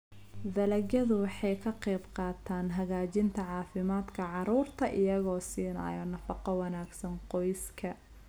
Dalagyadu waxay ka qaybqaataan hagaajinta caafimaadka carruurta iyagoo siinaya nafaqo wanaagsan qoyska.